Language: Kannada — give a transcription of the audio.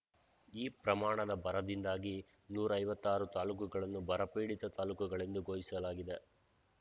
ಈ ಪ್ರಮಾಣದ ಬರದಿಂದಾಗಿ ನೂರ ಐವತ್ತಾರು ತಾಲೂಕುಗಳನ್ನು ಬರಪೀಡಿತ ತಾಲೂಕುಗಳೆಂದು ಘೋಷಿಸಲಾಗಿದೆ